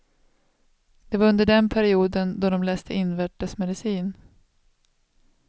Det var under den perioden då de läste invärtesmedicin.